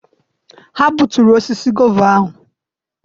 Ha gbuturu osisi gova ahụ.